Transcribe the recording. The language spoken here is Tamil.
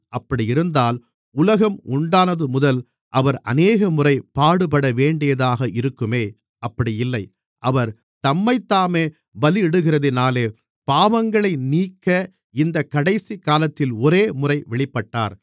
அப்படியிருந்தால் உலகம் உண்டானதுமுதல் அவர் அநேகமுறை பாடுபடவேண்டியதாக இருக்குமே அப்படி இல்லை அவர் தம்மைத்தாமே பலியிடுகிறதினாலே பாவங்களை நீக்க இந்தக் கடைசிகாலத்தில் ஒரேமுறை வெளிப்பட்டார்